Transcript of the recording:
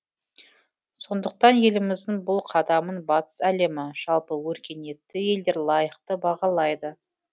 сондықтан еліміздің бұл қадамын батыс әлемі жалпы өркениетті елдер лайықты бағалайды